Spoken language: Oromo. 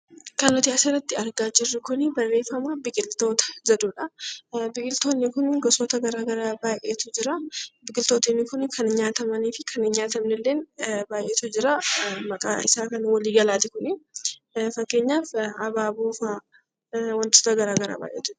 Kan nuti as irratti argaa jirru kuni barreeffama 'Biqiltoota' jedhu dha. Biqiltoonni kun gosoota gara garaa baay'eetu jira. Biqiltoonni kun kan nyaatamanii fi kan hin nyaatamne illee baay'eetu jira. Maqaa isaa kan walii galaati kuni. Fakkeenyaaf Abaaboo fa'a. Wantoota gara garaa baay'eetu jira.